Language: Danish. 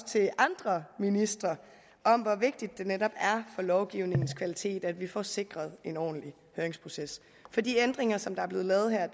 til andre ministre om hvor vigtigt det netop er lovgivningens kvalitet at vi får sikret en ordentlig høringsproces for de ændringer som der er blevet lavet her